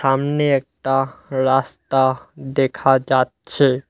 সামনে একটা রাস্তা দেখা যাচ্ছে।